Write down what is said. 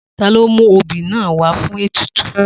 Ta ló mú obì náà wá fún ètùtù?